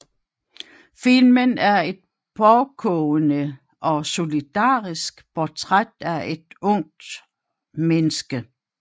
Filmen er et pågående og solidarisk portræt af et ungt menneske